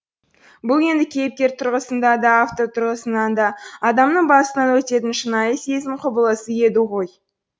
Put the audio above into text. бұл енді кейіпкер тұрғысында да автор тұрғысында да адамның басынан өтетін шынайы сезім құбылысы еді ғой